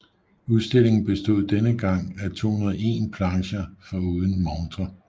Udstillingen bestod denne gang af 201 plancher foruden montrer